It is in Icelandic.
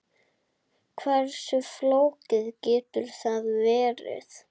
Hversu flókið getur það verið?